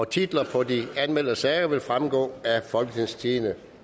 titlerne på de anmeldte sager vil fremgå af folketingstidende